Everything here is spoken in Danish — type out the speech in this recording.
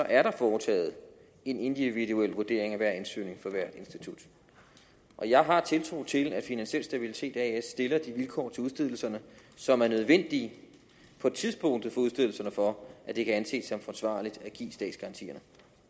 er der foretaget en individuel vurdering af hver ansøgning for hvert institut jeg har tiltro til at finansiel stabilitet as stiller de vilkår til udstedelse som er nødvendige på tidspunktet for udstedelserne for at det kan anses som forsvarligt at give statsgaranti